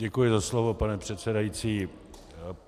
Děkuji za slovo, pane předsedající.